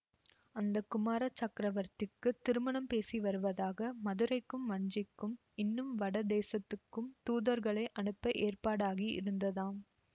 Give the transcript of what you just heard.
அந்த குமார சக்கரவர்த்திக்குத் திருமணம் பேசி வருவதாக மதுரைக்கும் வஞ்சிக்கும் இன்னும் வட தேசத்துக்கும் தூதர்களை அனுப்ப ஏற்பாடாகி இருந்ததாம்